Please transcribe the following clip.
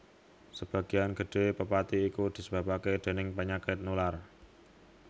Sebagian gedhé pepati iku disebabaké déning panyakit nular